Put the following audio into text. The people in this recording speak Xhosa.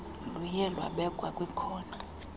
luye lwabekwa ndikhona